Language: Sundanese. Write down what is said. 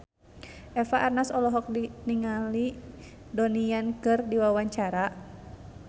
Eva Arnaz olohok ningali Donnie Yan keur diwawancara